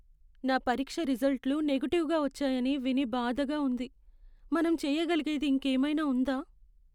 నా పరీక్ష రిజల్ట్లు నెగటివ్గా వచ్చాయని విని బాధగా ఉంది.మనం చెయ్యగలిగేది ఇంకేమైనా ఉందా?